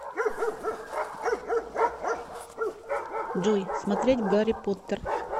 джой смотреть гарри поттер